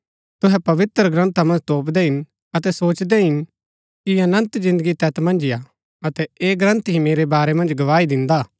तुहै पवित्रग्रन्था मन्ज तोपदै हिन अतै सोचदै हिन कि अनन्त जिन्दगी तैत मन्ज ही हा अतै ऐह ग्रन्थ ही मेरै बारै मन्ज गवाही दिन्दा हा